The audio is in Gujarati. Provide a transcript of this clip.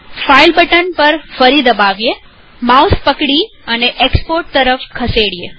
ફાઈલ બટન પર ફરી દબાવીએમાઉસ પકડી અને એક્સપોર્ટ તરફ ખસેડીએ